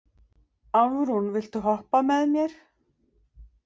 Álfrún, viltu hoppa með mér?